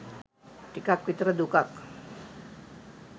ටිකක් විතර දුකක්.